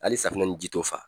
Hali safinɛ ni ji t'o fa.